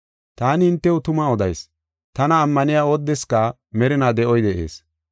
“Taani hintew tuma odayis; tana ammaniya oodeska merinaa de7oy de7ees.